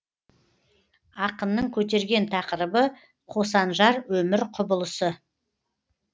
ақынның көтерген тақырыбы қосанжар өмір құбылысы